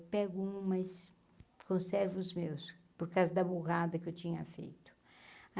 Pego um, mas conservo os meus, por causa da burrada que eu tinha feito.